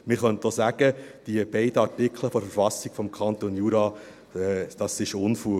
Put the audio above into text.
Man könnte auch sagen: Diese beiden Artikel der Verfassung des Kantons Jura sind Unfug.